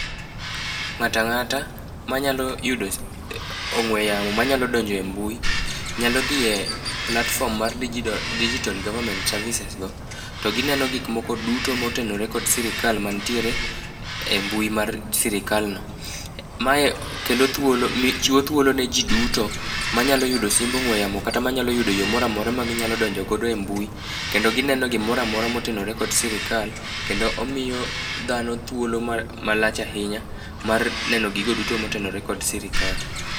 Ng'ata ng'ata manyalo yudo ong'we yamo ,manyalo donje mbui nyalo dhi e platform mar dijio digital government services go to gineno gik moko duto motenore kod sirikal mantiere e mbui mar sirikal no. Mae kelo thuolo mi chiwo thuolo ne jii duto manyalo yudo simbe ong'we yamo kata manyalo yudo yoo moramora magi nyalo donjo go e mbui kendo gineno gimoramora motenore kod sirikal , kendo omiyo dhano thuolo ma malach ahinya mar neno gigo duto motenore kod sirikal.